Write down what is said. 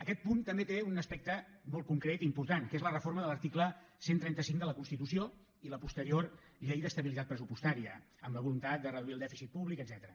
aquest punt també té un aspecte molt concret i important que és la reforma de l’article cent i trenta cinc de la constitució i la posterior llei d’estabilitat pressupostària amb la voluntat de reduir el dèficit públic etcètera